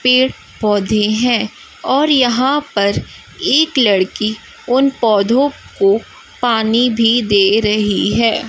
पेड़ पौधे हैं और यहां पर एक लड़की उन पौधों को पानी भी दे रही है।